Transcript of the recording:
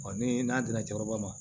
ni n'a dila cɛkɔrɔba ma